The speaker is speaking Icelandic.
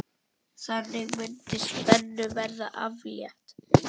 Þannig mundi spennu verða aflétt.